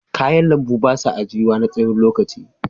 Kayan lambu ba sa ajiyuwa na tsawon lokaci.